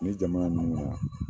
Ni jamana ninnu na